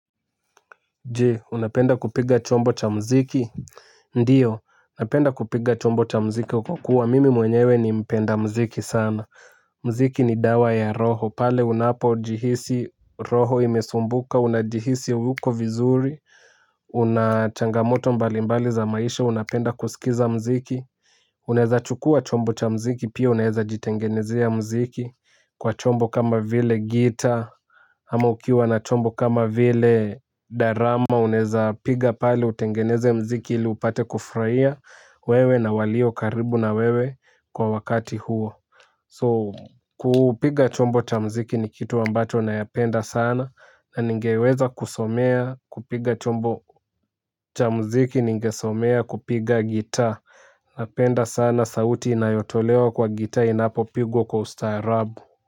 Je, unapenda kupiga chombo cha muziki? Ndiyo napenda kupiga chombo cha muziki kwa kuwa mimi mwenyewe ni mpenda muziki sana. Muziki ni dawa ya roho pale unapojihisi roho imesumbuka unajihisi hauko vizuri una changamoto mbalimbali za maisha, unapenda kusikiza muziki. Unaweza chukuwa chombo cha muziki pia unaweza jitengenezea muziki kwa chombo kama vile gitaa. Ama ukiwa na chombo kama vile darama unawezapiga pale utengeneze muziki ili upate kufurahia wewe na walio karibu na wewe kwa wakati huo So kupiga chombo cha muziki ni kitu ambacho nayapenda sana na ningeweza kusomea kupiga chombo cha muziki ningesomea kupiga gitaa. Napenda sana sauti inayotolewa kwa gitaa inapopigwa kwa ustaarabu.